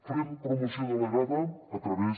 farem promoció delegada a través